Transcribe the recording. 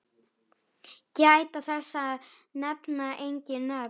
Gæta þess að nefna engin nöfn.